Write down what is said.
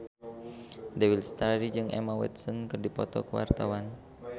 Dewi Lestari jeung Emma Watson keur dipoto ku wartawan